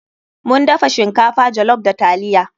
Mun dafa shinkafa jollof da taliya.